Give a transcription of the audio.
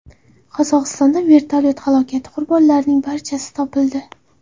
Qozog‘istonda vertolyot halokati qurbonlarining barchasi topildi.